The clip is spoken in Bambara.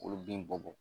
K'olu bin bɔ bɔ